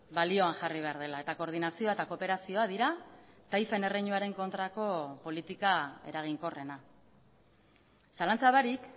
balioan jarri behar dela eta koordinazioa eta kooperazioa dira taifen erreinuaren kontrako politika eraginkorrena zalantza barik